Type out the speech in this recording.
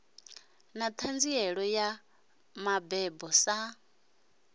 na ṱhanziela ya mabebo sa